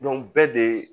bɛɛ de